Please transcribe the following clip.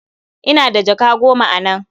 Ina da jaka goma a nan.